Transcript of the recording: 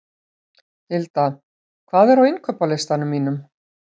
Hilda, hvað er á innkaupalistanum mínum?